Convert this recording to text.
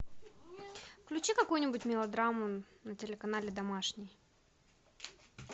включи какую нибудь мелодраму на телеканале домашний